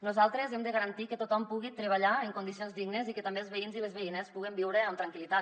nosaltres hem de garantir que tothom pugui treballar en condicions dignes i que també els veïns i les veïnes puguem viure amb tranquil·litat